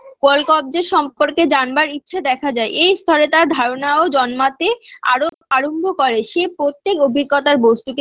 call কব্জার সম্পর্কে জানবার ইচ্ছা দেখা যায় এই স্তরে তার ধারণাও জন্মাতে আরো আরম্ভ করে সে প্রত্যেক অভিজ্ঞতার বস্তুকে